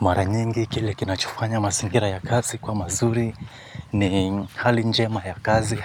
Mara nyingi kile kinachofanya mazingira ya kazi kuwa mazuri ni hali njema ya kazi